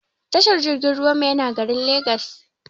Tashar jirgin ruwan mu yana garin legas